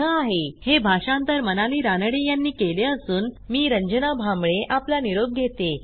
ह्या ट्युटोरियलचे भाषांतर मनाली रानडे यांनी केले असून मी रंजना भांबळे आपला निरोप घेते160